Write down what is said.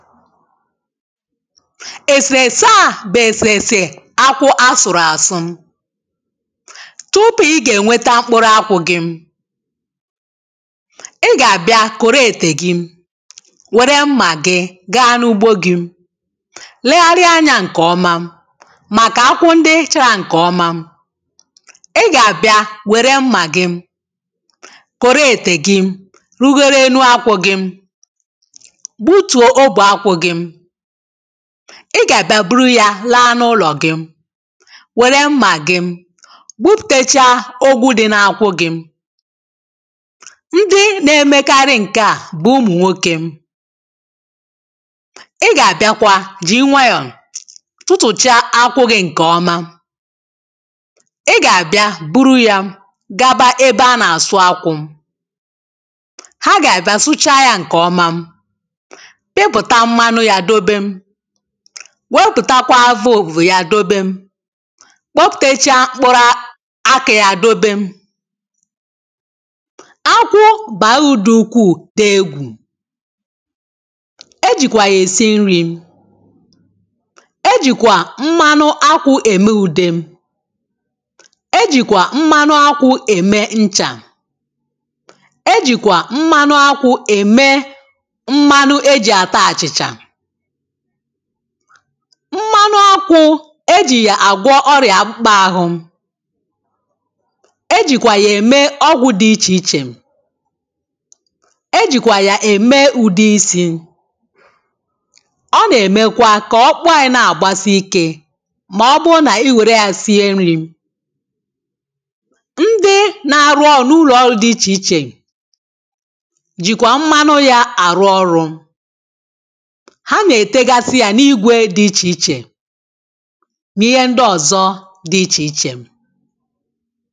èsèèsè a bụ̀ èsèèsè akwụ a sụ̀rụ̀ àsụ. tupu ị gà-ènweta mkpụrụ akwụ̇ gị̇ [paues]ị gà-àbịa kòro ètè gị wère mmà gị gaa n’ugbo gị̇ legharịa anyȧ ǹkèọma màkà akwụ ndị ị chara ǹkèọma ị gà-àbịa wère mmà gị kòro ètè gị rugoro enu akwụ̇ gị gbutuo ogbe akwụ gị.ị gà-àbịa buru ya laa n’ụlọ̀ gị wère mmà gị gbupùteche ụgwọ dị na-akwụ gị, ndị na-emekarị ǹke a bụ̀ ụmụ̀ nwoke, ị gà-àbịakwa jì ị nwayọ̀ tụtụ̀cha akwụgị̇ ǹkè ọma ị gà-àbịa buru ya gaba ebe a nà-àsụ akwụ̇ ha gà-àbịa sụcha yȧ ǹkè ọma wepùta mmanụ ya dobe, nweputakwa avụvụ ya dobe, kpọpuputecha mpkuru aki aki ya dobe akwụ bàra uru dù ukwuù dị egwù [paues]e jìkwà ya èse nri̇ e jìkwà mmanụ akwụ̇ ème ùde ,e jìkwà mmanụ akwụ̇ ème nchà, e jìkwà mmanụ akwụ̇ ème mmanụ eji ata achịcha, mmanụ akwụ̇ ejì yà àgwọ ọrịà akpụkpa ahụ e jìkwà yà ème ọgwụ̇ dị ichè ichè e jìkwà yà ème ụ̀de isi̇ ọ nà-èmekwa kà ọkpụkpu anyi nà-àgbasi ikė mà ọ bụrụ nà iwèrè ya sie nri. ndị na-arụ ọrụ̇ n’ụlọ̀ ọrụ dị ichè ichè jìkwa mmanụ yȧ àrụ ọrụ̇ ha na-etegasị ya n’igwe dị ichè ichè .na ihe ndị ọzọ dị ichè ichè